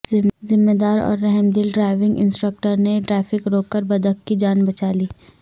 ذمہ دار اور رحمدل ڈرائیونگ انسٹرکٹر نے ٹریفک روک کر بطخ کی جان بچالی